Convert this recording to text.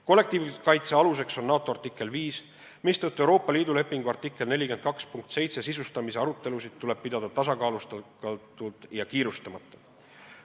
Kollektiivkaitse aluseks on NATO artikkel 5, mistõttu Euroopa Liidu lepingu artikli 42.7 sisustamise arutelusid tuleb pidada tasakaalustatult ja kiirustamata.